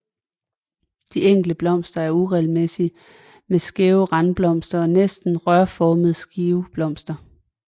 De enkelte blomster er uregelmæssige med skæve randblomster og næsten rørformede skiveblomster